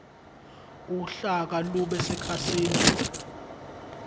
uhlaka lube sekhasini